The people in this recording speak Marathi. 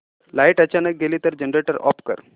लाइट अचानक गेली तर जनरेटर ऑफ कर